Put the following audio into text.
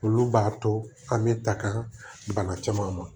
Olu b'a to an bɛ ta ka bana caman ma